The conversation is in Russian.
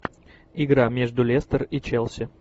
игра между лестер и челси